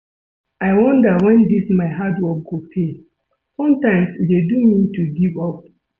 I wonder wen dis my hard work go pay, sometimes e dey do me to give up